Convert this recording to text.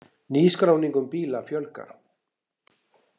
Nýskráningum bíla fjölgar